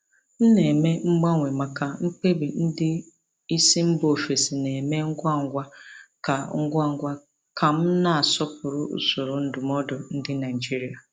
M na-eme mgbanwe maka mkpebi ndị isi mba ofesi na-eme ngwa ngwa ka ngwa ngwa ka m na-asọpụrụ usoro ndụmọdụ ndị Naijiria.